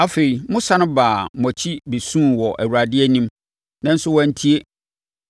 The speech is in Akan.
Afei, mosane baa mo akyi bɛsuu wɔ Awurade anim, nanso wantie.